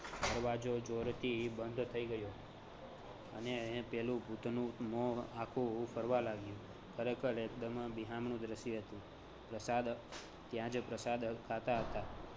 દરવાજો જોરથી બંધ થઈ ગયો અને પેલું ભૂતનું મોં આખુ ફરવા લાગ્યું. ખરેખર એકદમ બિહામણું દ્ર્શ્ય હતું. પ્રસાદ ત્યાં જ પ્રસાદ ખાતા હતાં